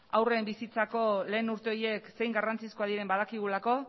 haurren bizitzako lehen urte horiek zein garrantzizkoak diren badakigulako